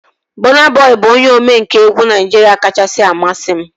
Bọna Bọi bụ onye omenkà egwu Naijiria kachasị amasị m